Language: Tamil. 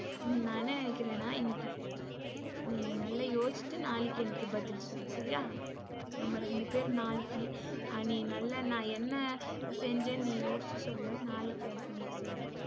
நா என்ன நினைக்குறேன்னா இன்னிக்கு நீ நல்லா யோசிச்சுட்டு நாளைக்கு எனக்கு பதில் சொல்லு சரியா? நம்ம ரெண்டு பெரும் நாளைக்கு நீ நல்லா நா என்ன செஞ்சேன்னு யோசிச்சு சொல்லு. நாளைக்கு அது செய்யலாம்.